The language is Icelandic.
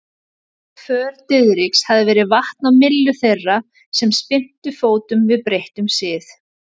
För Diðriks hafði verið vatn á myllu þeirra sem spyrntu fótum við breyttum sið.